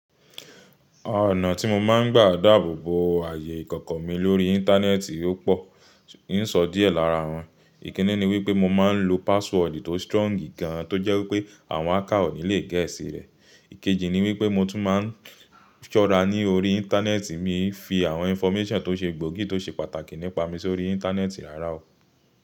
Ọ̀nà tí mo máa ń gbà dáàbò bo ààyè ìkọ̀kọ̀ mi lórí íńtánẹ́ẹ̀tì o pọ̀, n sọ díẹ̀ lára wọn. Ìkínní ni wípé mo máa ń lo password tó strong gan an tó jẹ́ wípé àwọn hacker o ni lè gẹ̀ ẹ́ sí rẹ̀. Ikeji ni wípé mo tún máa ń ṣọ́ra ní orí íńtánẹ́ẹ̀tì mi fi àwọn information tó ṣe gbòógì tó ṣe pàtàkì nípa mi sórí íńtánẹ́ẹ̀tì rara o.